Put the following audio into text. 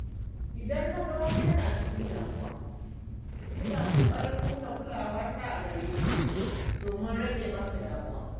Idan na ga wani yana cikin damuwa, ina ƙoƙarin nuna kulawa a gareshi domin rage masa damuwa.